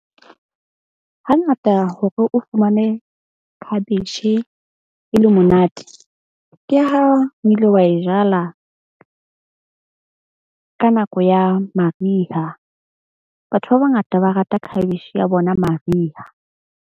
Hangata hore o fumane khabetjhe e le monate ke ha o ile wa e jala ka nako ya mariha. Batho ba bangata ba rata khabetjhe ya bona mariha.